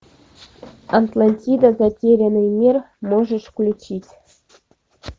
атлантида затерянный мир можешь включить